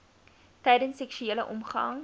tydens seksuele omgang